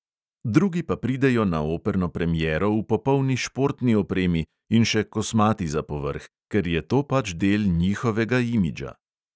Drugi pa pridejo na operno premiero v popolni športni opremi in še kosmati za povrh, ker jo ta pač del njihovega imidža.